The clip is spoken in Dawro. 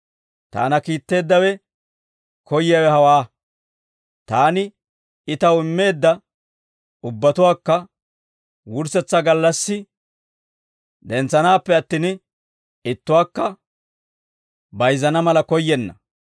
Taana kiitteeddawe koyyiyaawe hawaa; taani I taw immeedda ubbatuwaakka wurssetsaa gallassi dentsanaappe attin, ittuwaakka bayizzana mala koyyenna.